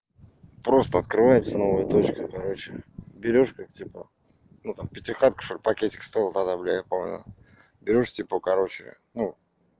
просто открывается новая точка короче берёшь как типа ну там пятихатку что ли пакетик стоил тогда бля я не помню берёшь типа короче ну